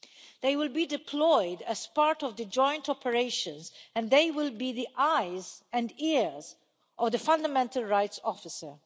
They will be deployed as part of the joint operations and they will be the eyes and ears of the fundamental rights officer.